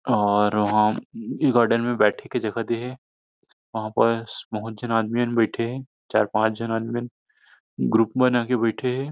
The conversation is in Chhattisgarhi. और वहां गार्डन में बैठे के जगह दे हे वहां पास बहुत झन आदमी मन बैठे हे चार पाँच झन आदमी मन ग्रुप बना के बैठे हे।